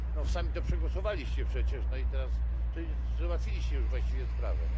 Sami to przegłosowaliście przecież i teraz załatwiliście już właściwie sprawę.